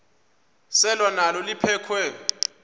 selwa nalo liphekhwe